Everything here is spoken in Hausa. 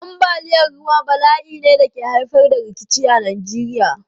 Ambaliyar ruwa bala'i ne da ke haifar da rikici a Najeriya.